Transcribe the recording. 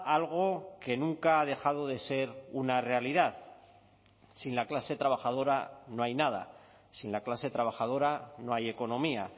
algo que nunca ha dejado de ser una realidad sin la clase trabajadora no hay nada sin la clase trabajadora no hay economía